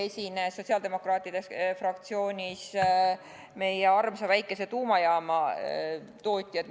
Eile esinesid sotsiaaldemokraatide fraktsioonis meie armsa väikese tuumajaama tootjad.